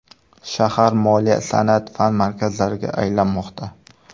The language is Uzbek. Shahar moliya, san’at, fan markazlariga aylanmoqda.